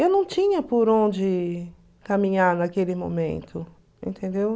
Eu não tinha por onde caminhar naquele momento, entendeu?